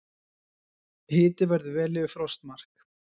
Hiti verður vel yfir frostmarki